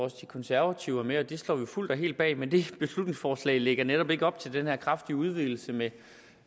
at de konservative var med og det står vi fuldt og helt bag men det beslutningsforslag lægger netop ikke op til den her kraftige udvidelse med